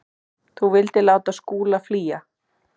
Þú vildir láta Skúla flýja.